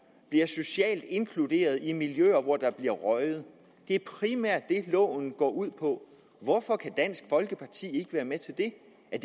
bliver socialt inkluderet i miljøer hvor der bliver røget det er primært det loven går ud på hvorfor kan dansk folkeparti ikke være med til det er